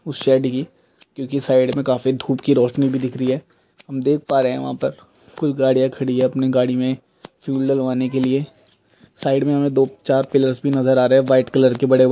क्युकि साइड में काफी धूप की रोशनी भी दिख रही है हम देख पा रहे है वहां पर कुछ गाड़िया खड़ी है अपनी गाड़ी में फ्यूल डलवाने के लिए साइड में हमे दो चार पिलर्स भी नजर आ रहे है व्हाइट कलर के बड़ेब--